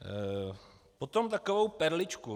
Potom takovou perličku.